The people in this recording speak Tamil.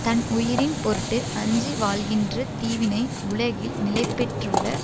தன் உயிரின் பொருட்டு அஞ்சி வாழ்கின்ற தீவினை உலகில் நிலை பெற்றுள்ள